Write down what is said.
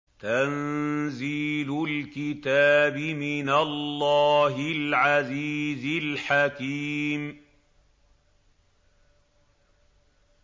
تَنزِيلُ الْكِتَابِ مِنَ اللَّهِ الْعَزِيزِ الْحَكِيمِ